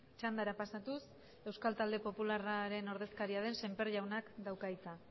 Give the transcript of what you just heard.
txandara pasatuz euskal talde popularraren ordezkaria den semper jaunak dauka hitza